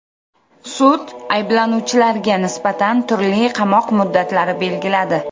Sud ayblanuvchilarga nisbatan turli qamoq muddatlari belgiladi.